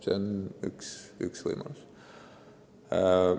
See on üks võimalus.